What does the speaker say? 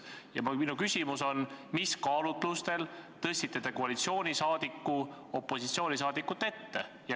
Ja minu küsimus on: mis kaalutlustel te tõstsite koalitsiooniliikme opositsiooniliikme ette?